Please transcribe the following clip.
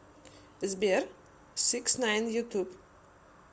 сбер сикснайн ютуб